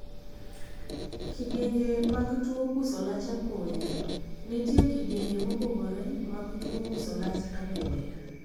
Kidienje mag tuo puso lach apoya. Nitie kidienje mopogore mag tuo puso lach apoya.